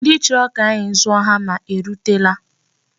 Ndị chọrọ ka anyị zụọ hama erutela.